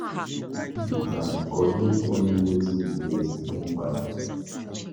Politely decline or give only wetin you get, no overdo